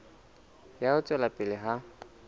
ya ho tswela pele ha